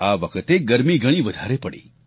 આ વખતે ગરમી ઘણી વધારે પડી